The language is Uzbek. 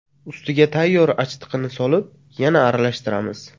Ustiga tayyor achitqini solib, yana aralashtiramiz.